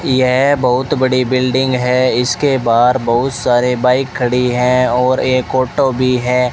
यह बहुत बड़ी बिल्डिंग है इसके बाहर बहुत सारे बाइक खड़ी है और एक ऑटो भी है।